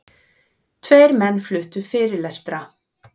Tveir menn fluttu fyrirlestra.